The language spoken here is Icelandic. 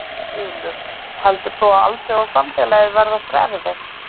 Þulur: Heldur þú að alþjóðasamfélagið verði okkur erfitt?